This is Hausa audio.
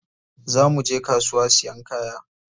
Za muje kasuwa siyan kaya.